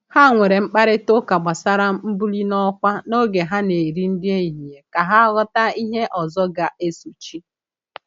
Ha nwere mkparịta ụka gbasara mbuli n'ọkwa n’oge ha na-eri nri ehihie ka ha ghọta ihe ọzọ ga-esochi.